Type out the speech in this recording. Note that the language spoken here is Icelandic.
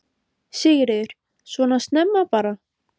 Sigríður: Svona snemma bara?